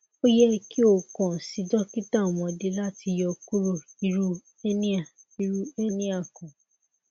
o yẹ ki o kan si dokita ọmọde lati yọ kuro iru hernia iru hernia kan